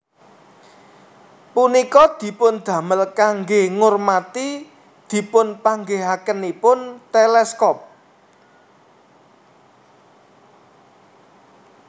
Punika dipundamel kangge ngurmati dipunpanggihakenipun teleskop